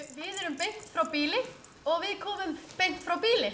við erum beint frá býli og við komum beint frá býli